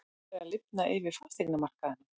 Það er að lifna yfir fasteignamarkaði